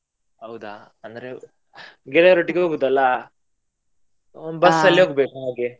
ಹೌದಾ ಅಂದ್ರೆ ಗೆಳೆಯರೊಟ್ಟಿಗೆ ಹೋಗುದಲ್ಲ. ಒಂ~ ಹೋಗ್ಬೇಕು ಹಾಗೆ.